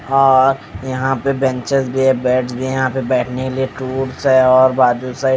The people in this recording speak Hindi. हां यहां पे बेंचेस भी है बेड्स भी है यहां पर बैठने के लिए टूल्स है और बाजू साइड --